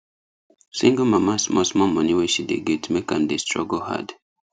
single mama small small money wey she dey get make am dey struggle hard